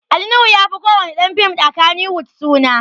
Ali Nuhu ya fi ko wani ɗan fim a Kannywood suna